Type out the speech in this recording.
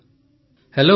ପ୍ରଧାନମନ୍ତ୍ରୀ ହେଲୋ